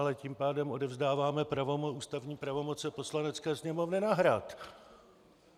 Ale tím pádem odevzdáváme ústavní pravomoci Poslanecké sněmovny na Hrad!